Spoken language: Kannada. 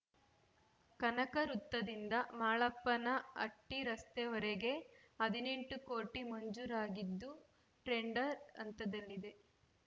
ಕನಕ ವೃತ್ತದಿಂದ ಮಾಳಪ್ಪನಹಟ್ಟಿರಸ್ತೆಯವರೆಗೆ ಹದಿನೆಂಟು ಕೋಟಿ ಮಂಜೂರಾಗಿದ್ದು ಟೆಂಡರ್‌ ಹಂತದಲ್ಲಿದೆ